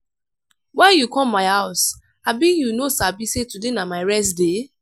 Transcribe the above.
why you come my house? abi you no sabi sey today na my rest day?